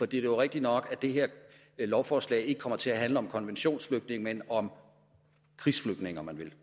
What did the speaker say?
det er rigtigt nok at det her lovforslag ikke kommer til at handle om konventionsflygtninge men om krigsflygtninge om man vil